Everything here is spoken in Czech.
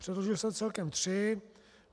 Předložil jsem celkem tři.